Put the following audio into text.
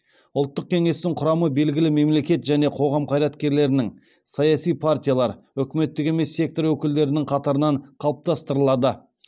ұлттық кеңестің құрамы белгілі мемлекет және қоғам қайраткерлерінің саяси партиялар үкіметтік емес сектор өкілдерінің қатарынан қалыптастырылады